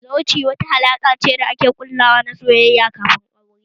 Zawarci wata alaƙa ce ta soyayya da ake ƙullawa kafin aure